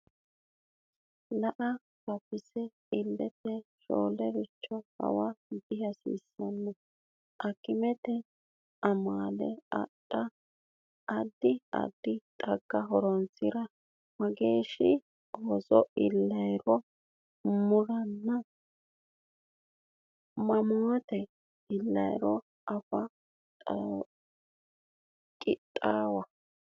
Ila fafise ilate shoolericho hawa dihasiissanno akimete amaale adha, addi addi xagga horonsi’ra, mageeshshi ooso illanniro muranna mamoote illanniro anfe qixxaawa.